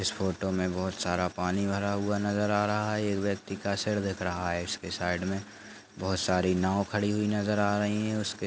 इस फोटो मे बहुत सारा पानी भरा हुआ नज़र आ रहा है एक व्यक्ति का सर दिख रहा है उसके साइड मे बहुत सारी नाव खड़ी हुई नज़र आ रही है। उसेक --